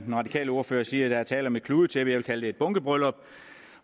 den radikale ordfører siger at der er tale om et kludetæppe jeg vil kalde det et bunkebryllup